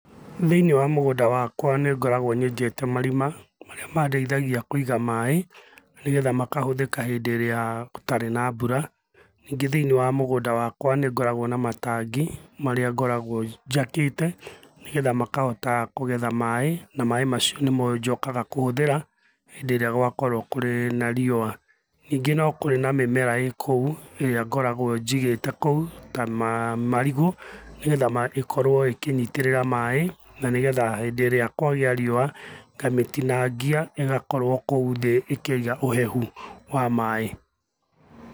Thĩiniĩ wa mũgũnda wakwa nĩ ngoragwo nyenjeta marima marĩa mandeithagia Kũiga maaĩ, nĩgetha makahũthĩka hindĩ ĩrĩa gũtarĩ na mbura. Ningĩ thĩiniĩ wa mũgũnda wakwa nĩĩ ngoragwo na matangi marĩa ngoragwo njakĩte nĩgetha makahota kũgetha maaĩ na maaĩ macio nĩmo njokaga kũhũthĩra hĩndĩ ĩrĩa gwakorwo kũrĩ na riũwa. Ningĩ no kũrĩ na mĩmera ĩkou ĩrĩa ngoragwo njigĩte kou ta marigũ nĩgetha ĩkorwo ĩkĩnyitĩrĩra maaĩ na nĩgetha hindĩ ĩrĩa kwagĩa riũwa ngamĩtinangia ĩgakorwo kou thĩ ĩkĩiga ũhehu wa maaĩ.